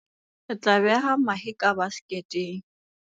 re tla beha mahe ka baseketeng